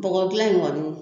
Bɔgɔ gilan in kɔni